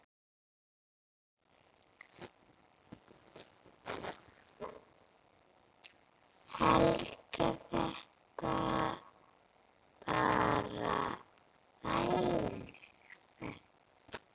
Helga: Þetta bara þægileg ferð?